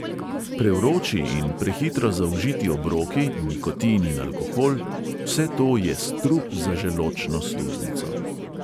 Prevroči in prehitro zaužiti obroki, nikotin in alkohol – vse to je strup za želodčno sluznico.